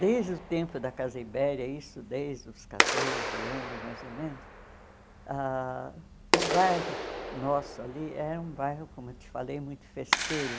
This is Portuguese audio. Desde o tempo da Casa Ibéria, isso desde os quatorze anos, mais ou menos, ãh o bairro nosso ali era um bairro, como eu te falei, muito festeiro.